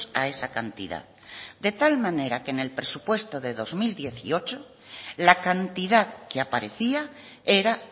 a esa cantidad de tal manera que en el presupuesto de dos mil dieciocho la cantidad que aparecía era